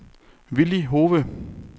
Villy Hove